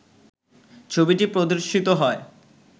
ছবিটি প্রদর্শিত হয়